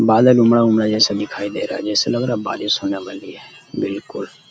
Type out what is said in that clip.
बादल उमड़ा-उमड़ा जैसा दिखाई दे रहा है। जैसे लग रहा है बारिश होने वाली है। बिलकुल --